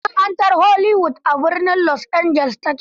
Masana'antar Hollywood, a birnin Los Angeles ta ke.